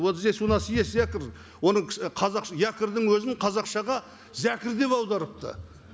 вот здесь у нас есть якорь оны қазақша якорьдің өзін қазақшаға зәкір деп аударыпты